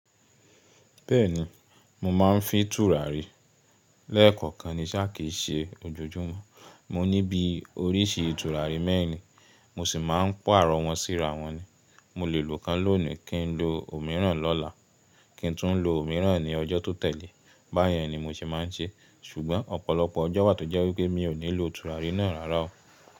Bẹ́ẹ̀ni, mo máa ń fi tùràrí lẹ́ẹ̀kọ̀kan ní sáà kìí ṣe ojoojúmọ́. Mo ní bíi oríṣi tùràrí mẹ́rin, mo sì máa ń paarọ̀ wọ́n sí ra wọn ní. Mo lè lo kan lónìí, kí n lo òmíràn lọ́la, kí n tún lo òmíràn ní ọjọ́ tó tẹ̀lé, báyẹn ni mo ṣe máa ń ṣe. Ṣùgbọ́n ọ̀pọ̀lọpọ̀ ọjọ́ wà tó jẹ́ wípé mi ò ní lo tùràrí náà rárá o.